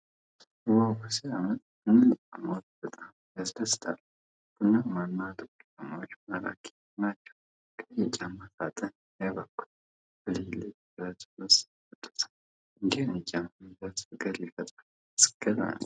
ዋው ሲያምር! እነዚህ ጫማዎች በጣም ያስደስታሉ። ቡናማና ጥቁር ጫማዎቹ ማራኪ ናቸው። ቀይ የጫማ ሣጥኑ ያጓጓል። ብልጭልጭ ብረቱ ውበት ሰጥቶታል። እንዲህ አይነት ጫማ መግዛት ፍቅር ይፈጥራል። አስገራሚ!